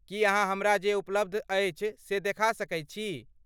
की अहाँ हमरा जे उपलब्ध अछि से देखा सकैत छी?